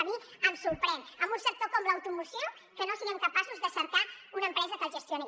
que a mi em sorprèn amb un sector com l’automoció que no siguem capaços de cercar una empresa que el gestioni